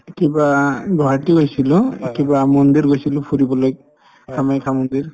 কিবা গুৱাহাটী গৈছিলো কিবা মন্দিৰ গৈছিলো ফুৰিবলৈ কামাখ্যা মন্দিৰ